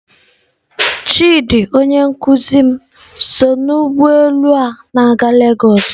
Chidi onye nkuzi m so n'ụgbọ elu a na-aga lagos.